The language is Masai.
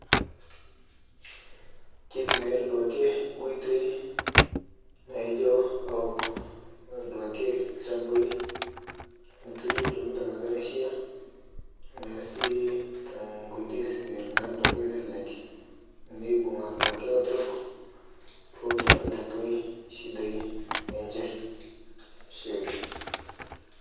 keitumiari duake nkoitei naijo awok duake lshampai noturi duake tankata naishia tanaa sii duake tenkoitei naa nalelek neibunga duake laturok pootum aitatuai shidai enche ashe oleng